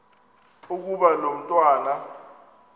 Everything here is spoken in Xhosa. ukuba lo mntwana